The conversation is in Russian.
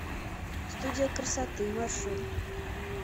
студия красоты маршрут